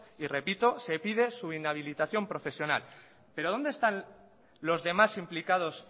y repito se pide su inhabilitación profesional pero dónde están los demás implicados